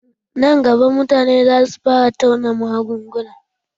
Nan gaba, mutane za su fara tauna magunguna